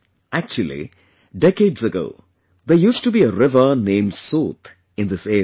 Actually, decades ago, there used to be a river named 'Sot' in this area